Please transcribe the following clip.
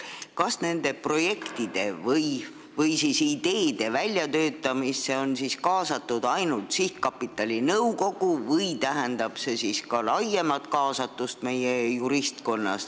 Kas nende projektide või ideede väljatöötamisse on kaasatud ainult sihtkapitali nõukogu või tähendab see ka meie juristkonna laiemat kaasatust?